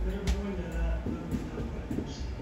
Niraba ŋo nyɛla ban bɛ tankpaɣu gbibu shee